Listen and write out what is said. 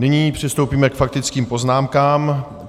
Nyní přistoupíme k faktickým poznámkám.